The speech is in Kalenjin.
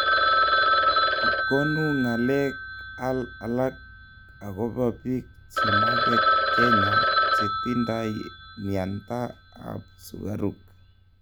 konu ngalek alk agoba biik che maget kenya che tindai myanta ab sugaruk